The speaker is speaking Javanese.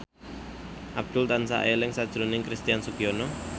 Abdul tansah eling sakjroning Christian Sugiono